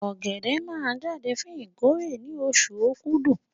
Ọ̀gẹ̀dẹ̀ máa jáde fún ìkórè ní oṣù Okúdù